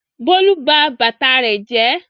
Bólú ba bàtà rẹ̀ jẹ́.